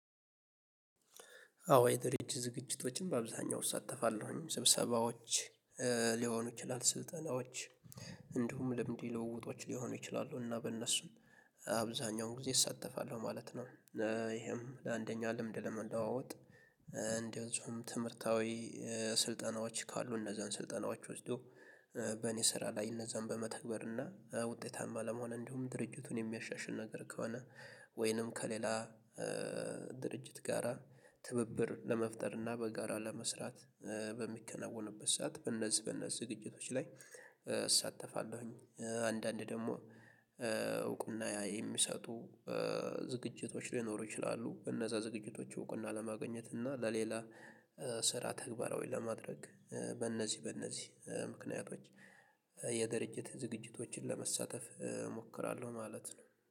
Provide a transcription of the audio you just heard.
አዎ የድርጅት ዝግጅቶችን በአብዛኛው እሳተፋለሁኝ ስብሰባዎች ሊሆኑ ይችላሉ ስልጠናዎች እንዲሁም ልምድ ውለውጦች ሊሆኑ ይችላሉ እና በእነሱም አብዛኛውን ጊዜ እሳተፋለሁ ማለት ነው። ይሄም ለአንደኛ ልምድ ለመለዋወጥ። እንደዚሁም ትምህርታዊ ስልጠናዎች ካሉ እነዛን ስልጠናዎች ወስዶ በእኔ ስራ ላይ እነዛን በመተግበር እና ውጤታማ ለመሆን እንዲሁም ድርጅቱን የሚያሻሽል ነገር ከሆነ ወይንም ከሌላ ድርጅት ጋራ ትብብር ለመፍጠር እና በጋራ ለመስራት በሚከናወንበት ሰዓት በነዚህ በነዚህ ዝግጅቶች ላይ እሳተፋለሁኝ። አንዳንድ ደግሞ እውቅና ያ የሚሰጡ ዝግጅቶች ሊኖሩ ይችላሉ እነዛ ዝግጅቶች እውቅና ለማግኘት እና ለሌላ ስራ ተግባራዊ ለማድረግ በእነዚህ በእነዚህ ምክንያቶች። የድርጅት ዝግጅቶችን ለመሳተፍ እሞክራለሁ ማለት ነው